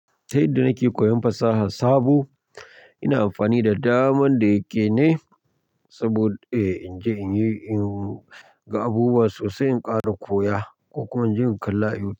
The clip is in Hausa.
Ta yadda nake koyon fasaha sabo, ina amfani da daman da yake ne saboda in je inyi in ga abubuwa sosai, in ƙara koya ko kuma in je in kalla YouTube.